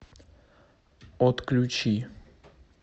отключи